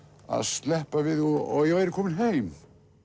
að sleppa við og ég væri kominn heim